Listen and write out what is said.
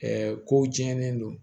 ko diɲɛlen don